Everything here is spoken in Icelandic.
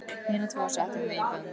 Hina tvo settum við í bönd.